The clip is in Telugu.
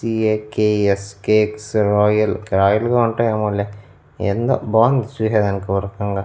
C A K E S cakes royal royal గా ఉంటాయేమోలే ఏందో బావుంది చూసేదానికి ఓరకంగా.